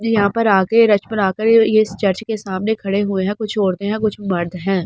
ज यहाँ पर आके रश बनाकर ये ये चर्च के सामने खड़े हुए है कुछ औरते है कुछ मर्द है ।